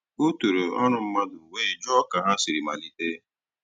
O tòrò ọ́rụ́ mmadụ́ wéé jụ́ọ́ kà ha sìrì malìtè.